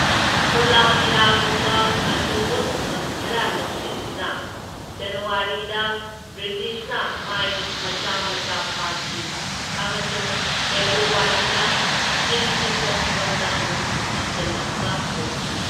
ꯀꯣꯂꯥꯕꯤꯔꯥꯒꯨꯝꯕ ꯑꯆꯧꯕ ꯈꯨꯡꯒꯪ ꯈꯔꯕ ꯂꯧꯁꯤꯟꯗꯨꯅ ꯖꯅꯋꯥꯔꯤꯗ ꯕ꯭ꯔꯤꯇꯤꯁꯅ ꯃꯥꯏ ꯃꯆꯥ ꯃꯆꯥ ꯄꯥꯛꯈꯤ, ꯑꯃꯁꯨꯡ ꯐꯦꯕ꯭ꯔꯨꯋꯥꯔꯤꯗ ꯏꯪ ꯆꯤꯛꯄ ꯐꯤꯚꯝꯗ ꯑꯃꯨꯛ ꯍꯟꯖꯜꯂꯛꯄ ꯍꯧꯈꯤ꯫